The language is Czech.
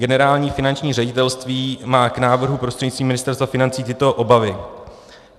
Generální finanční ředitelství má k návrhu prostřednictvím Ministerstva financí tyto obavy.